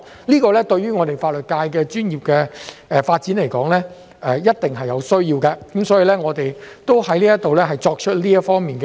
這對於法律界的專業發展來說，是一定有需要的，所以，我在這裏作出有關這方面的建議。